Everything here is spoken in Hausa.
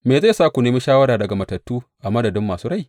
Me zai sa ku nemi shawara daga matattu a madadin masu rai?